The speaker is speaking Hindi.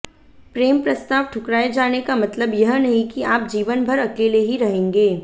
प्रेम प्रस्ताव ठुकराए जाने का मतलब यह नहीं कि आप जीवनभर अकेले ही रहेंगे